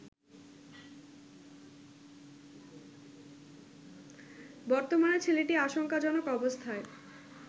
বর্তমানে ছেলেটি আশঙ্কাজনক অবস্থায়